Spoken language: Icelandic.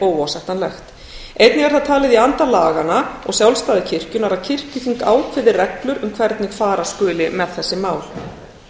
óásættanlegt einnig er það talið í anda laganna og sjálfstæðis kirkjunnar að kirkjuþing ákveði reglur um hvernig fara skuli með þessi mál